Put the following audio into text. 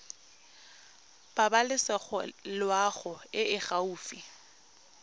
pabalesego loago e e gaufi